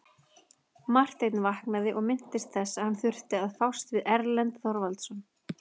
Marteinn vaknaði og minntist þess að hann þurfti að fást við Erlend Þorvarðarson.